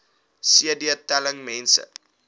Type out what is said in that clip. cd telling mense